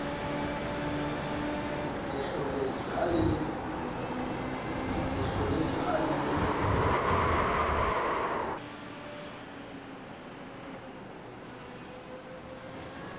ke hloletswe ha e le